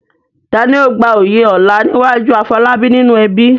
Ta ni ó gba oyè ọlá níwájú Afolabi nínú ẹbí?